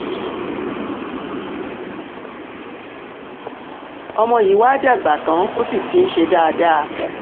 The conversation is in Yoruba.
ọmọ yìí wàá dàgbà tán o sì ti ń ṣe dáadáa